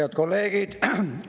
Head kolleegid!